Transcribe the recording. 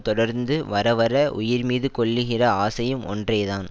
தொடர்ந்து வரவர உயிர் மீது கொள்ளுகிற ஆசையும் ஒன்றேதான்